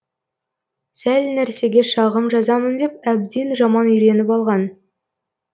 сәл нәрсеге шағым жазамын деп әбден жаман үйреніп алған